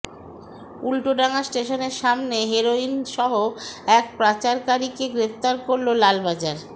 উল্টোডাঙ্গা স্টেশনের সামনে হেরোইন সহ এক পাচারকারীকে গ্রেফতার করল লালবাজার